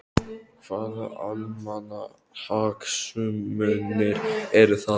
Hvaða almannahagsmunir eru það?